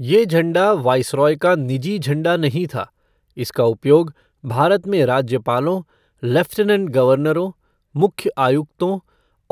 ये झंडा वायसराय का निजी झंडा नहीं था, इनका उपयोग भारत में राज्यपालों, लेफ़्टिनेंट गवर्नरों, मुख्य आयुक्तों